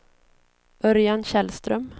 Örjan Källström